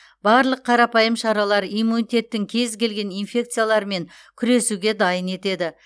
барлық қарапайым шаралар иммунитеттің кез келген инфекциялармен күресуге дайын етеді